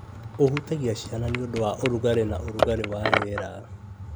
Ũhutagia ciana nĩ ũndũ wa ũrugarĩ na ũrugarĩ wa rĩera,